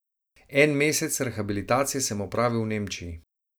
En mesec rehabilitacije sem opravil v Nemčiji.